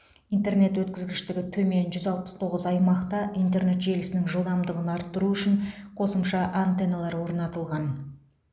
интернет өткізгіштігі төмен жүз алпыс тоғыз аймақта интернет желісінің жылдамдығын арттыру үшін қосымша антенналар орнатылған